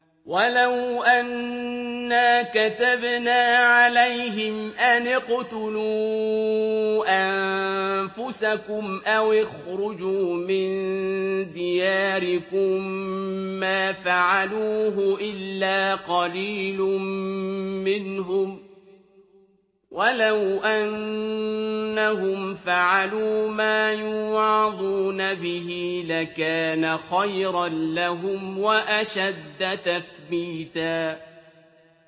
وَلَوْ أَنَّا كَتَبْنَا عَلَيْهِمْ أَنِ اقْتُلُوا أَنفُسَكُمْ أَوِ اخْرُجُوا مِن دِيَارِكُم مَّا فَعَلُوهُ إِلَّا قَلِيلٌ مِّنْهُمْ ۖ وَلَوْ أَنَّهُمْ فَعَلُوا مَا يُوعَظُونَ بِهِ لَكَانَ خَيْرًا لَّهُمْ وَأَشَدَّ تَثْبِيتًا